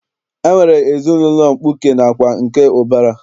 E nwere ezinaụlọ mkpuke nakwa nke ụbara.